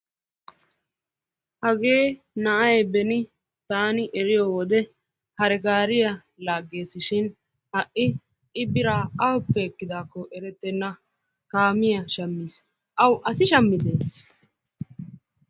Hagee na'aay beni tanni eriyoo wode hare-gaariya laagesishin ha'i biraa aawuppe ekidakko erettena kaamiya shammis. Awu asi shammidde?